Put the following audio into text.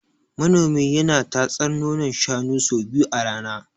Manomi yana tatsar nonon shanun sau biyu a rana.